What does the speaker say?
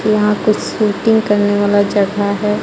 यहाँ कुछ शूटिंग करने वाला जगा हे.